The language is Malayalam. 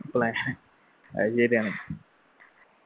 plan അത് ശരിയാണ്